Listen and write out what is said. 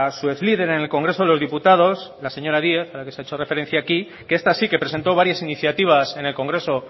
su exlíder en el congreso de los diputados la señora díez a la que se ha hecho referencia aquí que esta sí que presentó varias iniciativas en el congreso